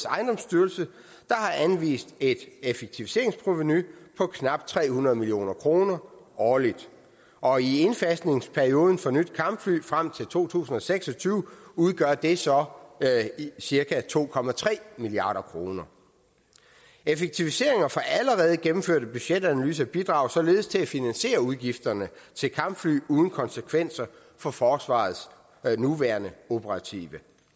ejendomsstyrelse der har anvist et effektiviseringsprovenu på knap tre hundrede million kroner årligt og i indfasningsperioden for nyt kampfly frem til to tusind og seks og tyve udgør det så cirka to milliard kroner effektiviseringer for allerede gennemførte budgetanalyser bidrager således til at finansiere udgifterne til kampfly uden konsekvenser for forsvarets nuværende operative